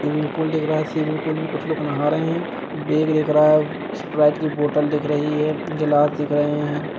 Swimming pool दिख रहा है स्विमिंग पूल में कुछ लोग नहा रहे हैं बैग देख रहा है स्प्राइट की बोतल दिख रही है गिलास दिख रहे हैं।